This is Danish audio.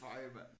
Ej mand